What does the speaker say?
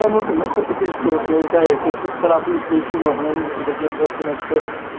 напишите в комментариях тебе столько тороплюсь встречу нахрена мне похую на все